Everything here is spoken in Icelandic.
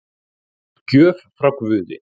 Gjöf frá guði